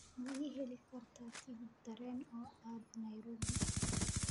ma ii heli kartaa tigidh tareen oo aad nairobi